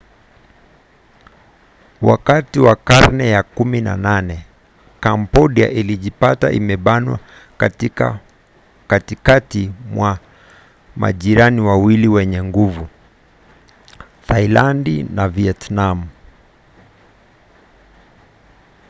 wakati wa karne ya 18 kambodia ilijipata imebanwa katikati mwa majirani wawili wenye nguvu thailandi na vietnam